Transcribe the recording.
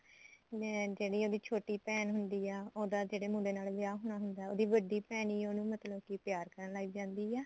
ਮੈਂ ਜਿਹੜੀ ਉਹਦੀ ਛੋਟੀ ਭੈਣ ਹੁੰਦੀ ਆ ਉਹਦਾ ਜਿਹੜੇ ਮੁੰਡੇ ਨਾਲ ਵਿਆਹ ਹੋਣਾ ਹੁੰਦਾ ਉਹਦੀ ਵੱਡੀ ਭੈਣ ਈ ਉਹਨੂੰ ਮਤਲਬ ਕਿ ਪਿਆਰ ਕਰਨ ਲੱਗ ਜਾਂਦੀ ਐ